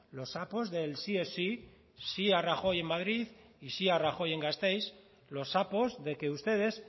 los sapos del sí es sí sí a rajoy en madrid y sí a rajoy en gasteiz los sapos de que ustedes